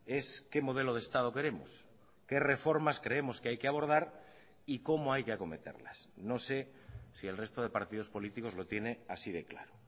es qué modelo de estado queremos qué reformas creemos que hay que abordar y cómo hay que acometerlas no sé si el resto de partidos políticos lo tiene así de claro